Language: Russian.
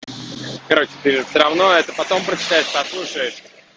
короче ты все равно это потом прочитаешь послушаешь